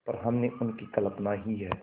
पर हमने उनकी कल्पना ही है